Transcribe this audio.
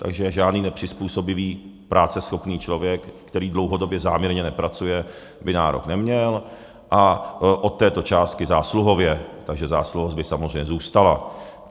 Takže žádný nepřizpůsobivý práceschopný člověk, který dlouhodobě záměrně nepracuje, by nárok neměl a od této částky zásluhově, takže zásluhovost by samozřejmě zůstala.